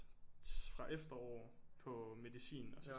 Fra efterår på medicin og så